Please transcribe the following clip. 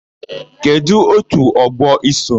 Kedụ òtù ọgbọ i so?